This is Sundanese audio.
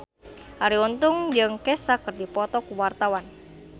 Arie Untung jeung Kesha keur dipoto ku wartawan